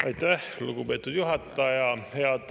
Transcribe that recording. Aitäh, lugupeetud juhataja!